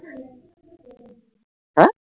হ্যাঁ